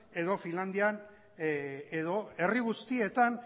edo finlandian edo herri guztietan